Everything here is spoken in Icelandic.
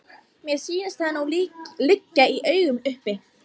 Mér sýnist það nú liggja í augum uppi!